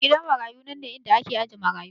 Gidan marayu nanne inda ake ajiye marayu